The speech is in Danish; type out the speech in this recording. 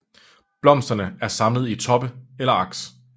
Blomsterne er samlet i toppe eller aks